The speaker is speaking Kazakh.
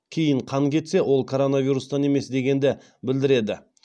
кейін қан кетсе ол коронавирустан емес дегенді білдіреді